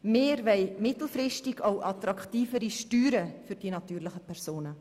Wir wollen mittelfristig auch attraktivere Steuern für die natürlichen Personen.